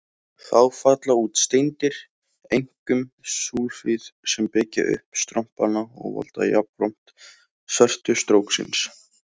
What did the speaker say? Þá falla út steindir, einkum súlfíð, sem byggja upp strompana og valda jafnframt svertu stróksins.